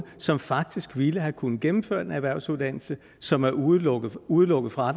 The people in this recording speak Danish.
som faktisk ville have kunnet gennemføre en erhvervsuddannelse som er udelukket udelukket fra